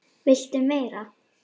VILTU MEIRA?